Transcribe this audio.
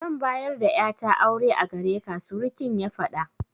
Zan bayar da ƴata aure a gareka, surikin ya faɗa.